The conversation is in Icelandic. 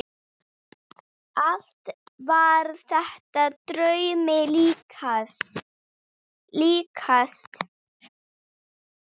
Allt var þetta draumi líkast.